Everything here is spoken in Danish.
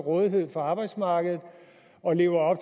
rådighed for arbejdsmarkedet og lever